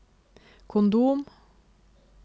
kondom